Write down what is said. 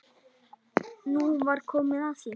Nú var komið að því!